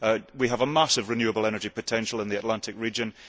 We have a massive renewable energy potential in the Atlantic region.